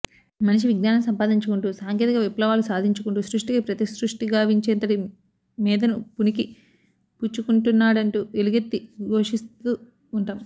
మనిషి విజ్ఞానం సంపాదించుకుంటూ సాంకేతిక విప్లవాలు సాధించుకుంటూ సృష్ఠికి ప్రతిసృష్ఠి గావించేంతటి మేథను పుణికి పుచ్చుకుంటున్నాడంటూ ఎలుగెత్తి ఘోషిస్తూ ఉంటాం